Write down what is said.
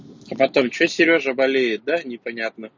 а потом что серёжа болеет непонятно